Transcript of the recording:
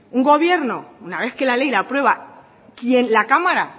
un gobierno una vez que la ley aprueba quien la cámara